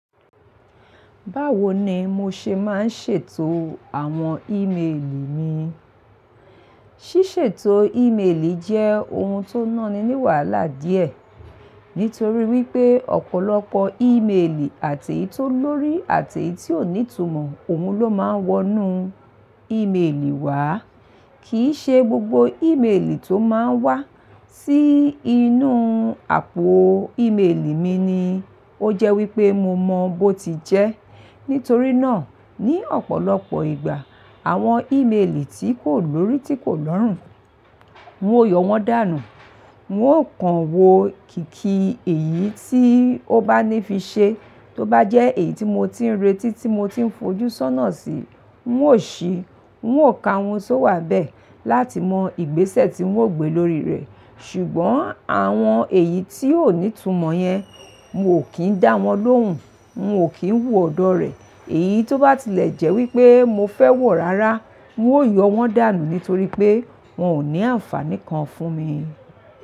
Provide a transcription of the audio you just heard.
Báwo ni mo ṣe máa ń ṣètò àwọn ímeèlì mi? Ṣíṣètò ímeèlì jẹ́ ohun tó náani ní wàhálà díẹ̀ nítorí wípé ọ̀pọ̀lọpọ̀ ímeèlì àti ì tó lórí àti ì tí ò ní ìtumọ̀, òun ló máa ń wọnú ímeèlì wá. Kì í ṣe gbogbo ímeèlì tó máa ń wá sí inú àpò ímeèlì mi ni ó jẹ́ wípé mo mọ bó ti jẹ́. Nítorí náà ní ọ̀pọ̀lọpọ̀ ìgbà àwọn ímeèlì tí kò lórí tí kò lọ́rùn, n ó yọ wọ́n dànù. N ó kan wo kíkì èyí tí ó bá ní fi ṣe, tó bá jẹ́ èyí tí mo ti ń retí tí mo ti ń fojú sọ́nà sí, ń ó ṣí, ń ó ka ohun tó wà bẹ́ẹ̀ láti mọ ìgbésẹ̀ tí ń ó gbé lórí rẹ̀. Ṣùgbọ́n àwọn èyí tí ò ní ìtumọ̀ yẹn, n ó kín dá wọn lóhùn, n ó kín wò ọ̀dọ̀ rẹ̀. Èyí tó bá tilẹ̀ jẹ́ wípé mo fẹ́ wọ̀ rárá, ń ó yọ wọ́n dànù nítorí pé wọn ò ní àǹfàní kan fún mi.